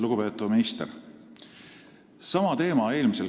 Lugupeetav minister!